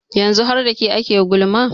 yanzu har da ke ake gulma